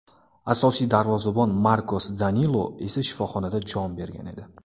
Asosiy darvozabon Markos Danilo esa shifoxonada jon bergan edi.